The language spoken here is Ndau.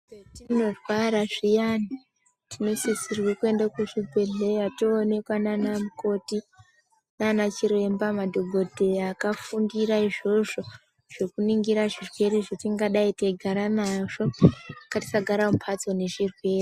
Zvetinorwara zviyani tinosisirwa kuenda kuzvi bhedhlera tonoonekwa nanamukoti nana chiremba madhokodheya akafundira izvozvo zvekuningira zvirwere zvatingadai teigara nazvo ndatisagara mumbatso nezvirwere .